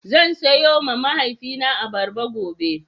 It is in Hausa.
Zan siyowa mahaifina abarba gobe.